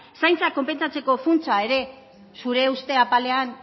zaintza konpentsatzeko funtsa ere zure uste apalean